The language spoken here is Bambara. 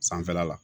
Sanfɛla la